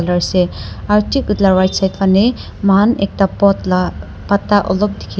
ase aro thik itu la right side phane muikhan ekta pot la pata olop dikhi.